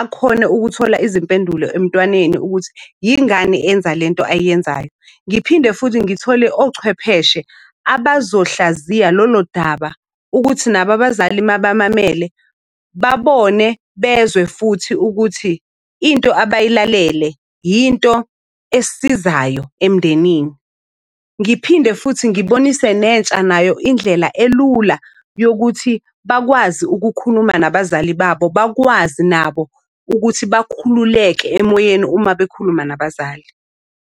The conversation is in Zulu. akhone ukuthola izimpendulo emntwaneni ukuthi yingane enza le nto ayenzayo. Ngiphinde futhi ngithole ochwepheshe abazohlaziya lolo daba ukuthi nabo abazali mabamamele babone bezwe futhi ukuthi into abayilalele yinto esizayo emndenini. Ngiphinde futhi ngibonise nentsha nayo indlela elula yokuthi bakwazi ukukhuluma nabazali babo. Bakwazi nabo ukuthi bakhululeke emoyeni uma bekhuluma nabazali.